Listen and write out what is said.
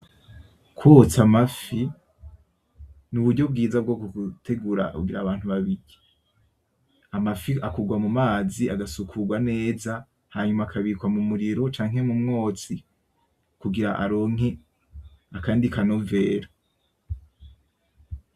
Kwotsa amafi ni uburyo bwiza bwo gutegura kugira abantu babirye , amafi akurwa mumazi agasukurwa neza, hanyuma akabikwa mu muriro canke mu mwotsi, kugira aronke akandi kanovera.